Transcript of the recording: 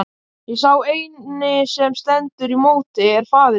Og sá eini sem stendur í móti er faðir minn!